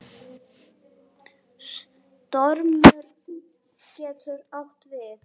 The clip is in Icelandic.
Stormur getur átt við